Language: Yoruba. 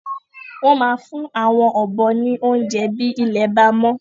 Wọn máa fún àwon ọ̀bọ ní oúnjẹ bi ilé bá mọ